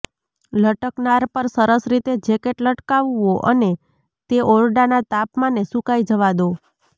લટકનાર પર સરસ રીતે જેકેટ લટકાવવો અને તે ઓરડાના તાપમાને સુકાઈ જવા દો